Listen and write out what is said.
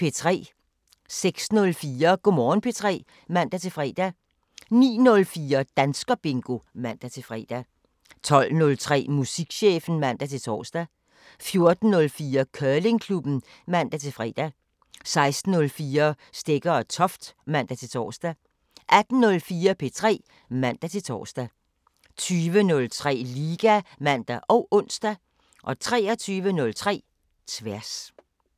06:04: Go' Morgen P3 (man-fre) 09:04: Danskerbingo (man-fre) 12:03: Musikchefen (man-tor) 14:04: Curlingklubben (man-fre) 16:04: Stegger & Toft (man-tor) 18:04: P3 (man-tor) 20:03: Liga (man og ons) 23:03: Tværs